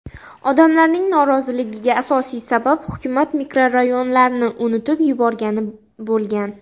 Odamlarning noroziligiga asosiy sabab hukumat mikrorayonlarni unutib yuborgani bo‘lgan.